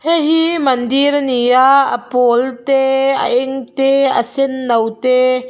hei hi mandir a ni a a pawl te a eng te a senno te--